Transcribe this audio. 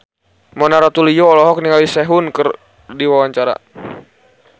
Mona Ratuliu olohok ningali Sehun keur diwawancara